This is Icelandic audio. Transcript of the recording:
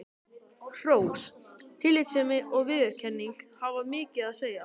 Hrós, tillitssemi og viðurkenning hafa mikið að segja.